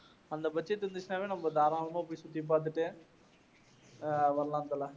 அந்த budget இருந்திச்சின்னாவே நம்ப தாராளமா போய் சுத்தி பார்த்துட்டு அஹ் வரலாம் தல.